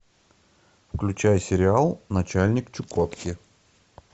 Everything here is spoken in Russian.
включай сериал начальник чукотки